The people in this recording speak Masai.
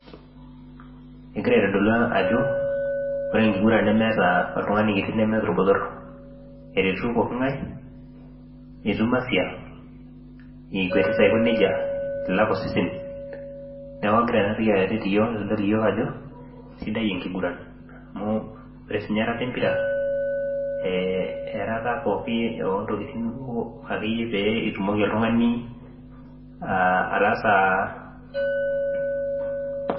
Egira aitodolu ajo ore enkiguran nemeeta oltungani kiti ashu orbotor , eretu pokingae , itum afya, ikwetita aiko nejia ilak osesen ,niaku egira enatoki aitodol ajo sidai enkiguran .